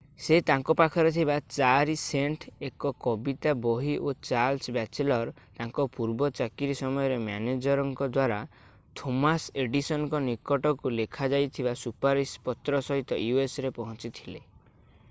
ସେ ତାଙ୍କ ପାଖରେ ଥିବା 4 ସେଣ୍ଟ୍‌ ଏକ କବିତା ବହି ଓ ଚାର୍ଲ୍ସ ବାଚେଲର୍ ତାଙ୍କ ପୂର୍ବ ଚାକିରୀ ସମୟର ମ୍ୟାନେଜର୍ଙ୍କ ଦ୍ୱାରା ଥୋମାସ୍ ଏଡିସନ୍‌ଙ୍କ ନିକଟକୁ ଲେଖାଯାଇଥିବା ସୁପାରିଶ ପତ୍ର ସହିତ usରେ ପହଞ୍ଚିଥିଲେ।